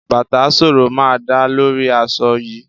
Bàtà ṣooro máa dáa lórí aṣọ yìí.